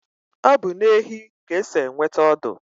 Obu na ehi ka esi enweta ọdụ